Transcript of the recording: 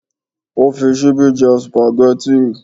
Ó fi ṣíbí jẹ sùpàgẹ́tì?